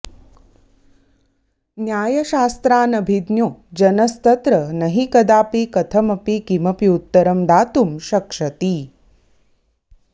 न्यायशास्त्रानभिज्ञो जनस्तत्र नहि कदापि कथमपि किमप्युत्तरं दातुं शक्ष्यति